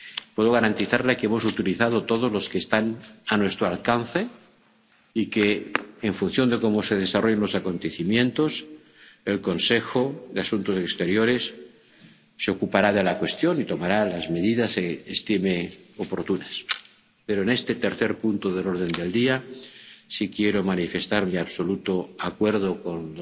Puedo garantizarles que hemos utilizado todos los que están a nuestro alcance y que, en función de cómo se desarrollen los acontecimientos, el Consejo de Asuntos Exteriores se ocupará de la cuestión y tomará las medidas estime oportunas. Pero en este tercer punto del orden del día, sí quiero manifestar mi absoluto acuerdo